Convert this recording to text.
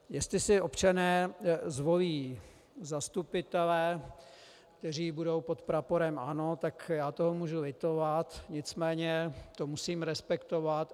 Jestli si občané zvolí zastupitele, kteří budou pod praporem ANO, tak já toho můžu litovat, nicméně to musím respektovat.